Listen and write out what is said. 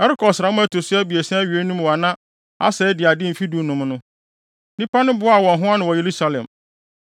Ɛrekɔ ɔsram a ɛto so abiɛsa awiei no mu a na Asa adi ade mfe dunum no, nnipa no boaa wɔn ho ano wɔ Yerusalem.